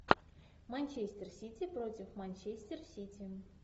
манчестер сити против манчестер сити